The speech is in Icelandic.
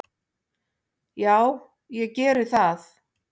"""Já, ég geri það."""